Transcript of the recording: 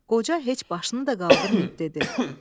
Qoca heç başını da qaldırmayıb dedi: